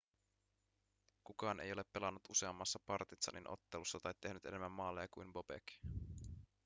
kukaan ei ole pelannut useammassa partizanin ottelussa tai tehnyt enemmän maaleja kuin bobek